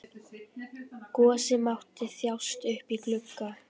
Gosi mátti þjást uppí glugga.